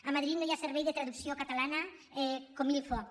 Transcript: a ma·drid no hi ha servei de traducció catalana comme il faut